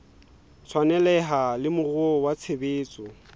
tshwaneleha le moruo wa tshebetso